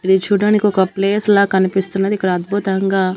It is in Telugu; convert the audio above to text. ఇది చూడ్డానికి ఒక ప్లేస్ లా కనిపిస్తున్నది ఇక్కడ అద్భుతంగా--